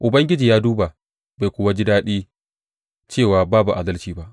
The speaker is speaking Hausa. Ubangiji ya duba bai kuwa ji daɗi cewa babu adalci ba.